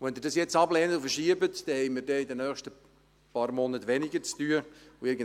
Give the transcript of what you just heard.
Wenn Sie dies nun ablehnen und verschieben, werden wir in den nächsten Monaten weniger zu tun haben.